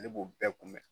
Ale b'o bɛɛ kunbɛn